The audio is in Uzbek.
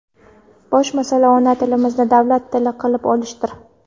Bosh masala ona tilimizni davlat tili qilib olishdir.